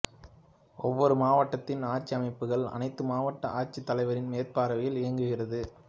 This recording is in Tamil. ஒவ்வொரு மாவட்டத்தின் ஆட்சி அமைப்புகள் அனைத்தும் மாவட்ட ஆட்சித்தலைவரின் மேற்பார்வையில் இயங்குகிறது